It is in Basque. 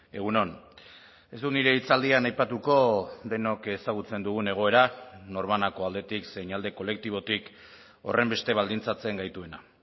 egun on ez dut nire hitzaldian aipatuko denok ezagutzen dugun egoera norbanako aldetik zein alde kolektibotik horrenbeste baldintzatzen gaituena